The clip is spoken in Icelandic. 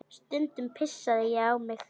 Stundum pissaði ég á mig.